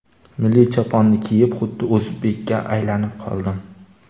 Milliy choponni kiyib, xuddi o‘zbekka aylanib qoldim.